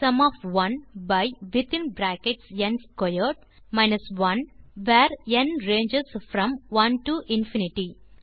sum of 1 by within brackets n squared 1 where n ranges from 1 to infinity